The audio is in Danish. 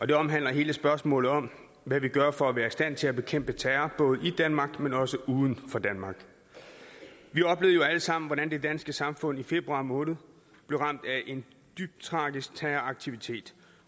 det omhandler hele spørgsmålet om hvad vi gør for at være i stand til at bekæmpe terror både i danmark men også uden for danmark vi oplevede jo alle sammen hvordan det danske samfund i februar måned blev ramt af en dybt tragisk terroraktivitet